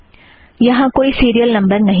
यहाँ कोई serial number नहीं है